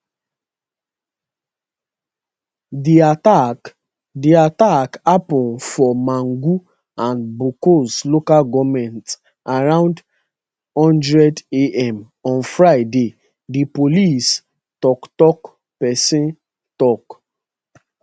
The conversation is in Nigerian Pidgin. di attack di attack happun for mangu and bokkos local goment around one hundred am on friday di police toktok pesin tok